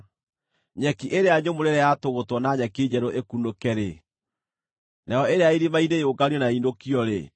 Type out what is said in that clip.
Nyeki ĩrĩa nyũmũ rĩrĩa yatũgũtwo na nyeki njerũ ĩkunũke-rĩ, nayo ĩrĩa ya irĩma-inĩ yũnganio na ĩinũkio-rĩ,